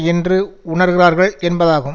என்று உணர்கிறார்கள் என்பதாகும்